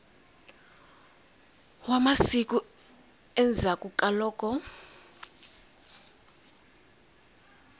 wa masiku endzhaklu ka loko